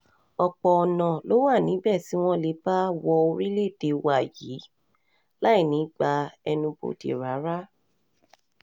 ọ̀pọ̀ ọ̀nà um ló wà níbẹ̀ tí wọ́n lè bá wo orílẹ̀-èdè wa yìí um láì ní í gba ẹnubodè rárá